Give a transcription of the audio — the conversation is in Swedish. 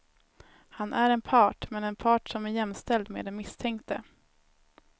Han är en part, men en part som är jämställd med den misstänkte.